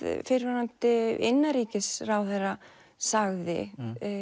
fyrrverandi innanríkisráðherra sagði